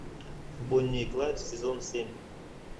бонни и клайд сезон семь